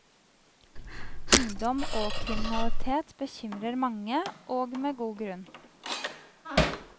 Ungdom og kriminalitet bekymrer mange, og med god grunn.